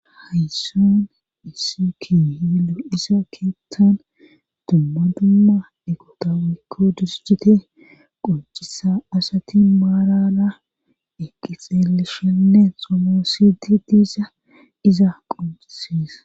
Haysson issikii hiilu isa keettan dumma dumma eqotawaykko dusjite qoncisa asati maarara eqqi xeeleshenne xomoosidi diisa iza qonciseesa.